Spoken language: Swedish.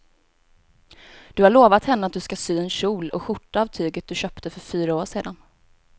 Du har lovat henne att du ska sy en kjol och skjorta av tyget du köpte för fyra år sedan.